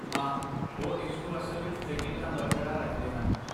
ਹਾਂ, ਉਹ ਇਸਨੂੰ ਅਸਲ ਵਿੱਚ ਚੰਗੀ ਤਰ੍ਹਾਂ ਬਰਕਰਾਰ ਰੱਖਦੇ ਹਨ